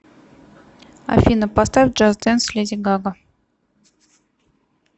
афина поставь джаст дэнс леди гага